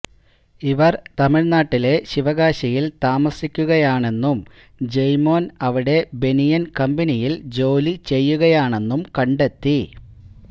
ഇവർ തമിഴ്നാട്ടിലെ ശിവകാശിയിൽ താമസിക്കുകയാണെന്നും ജെയ്മോൻ അവിടെ ബനിയൻ കമ്പനിയിൽ ജോലി ചെയ്യുകയാണെന്നും കണ്ടെത്തി